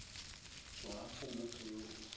tswa go motho yo o